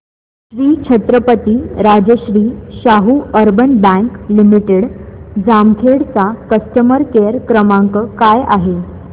Shri Chhatrapati Rajarshi Shahu urban bank limited Jamkhed चा customer care क्रमांक काय आहे